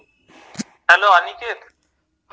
hello Aniket